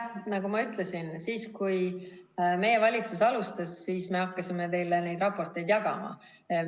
Nagu ma ütlesin, kui meie valitsus alustas, siis me hakkasime teile neid raporteid jagama.